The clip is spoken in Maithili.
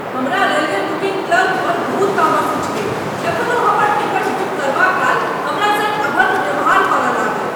हमरा रेलवे बुकिंग क्लर्क पर बहुत तामस उठि गेल जखन ओ हमर टिकट बुक करबाकाल हमरा संग अभद्र व्यवहार करय लागल।